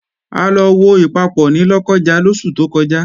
A lọ wo Ìpapọ̀ ní Lọ́kọ́ja lóṣù tó kọjá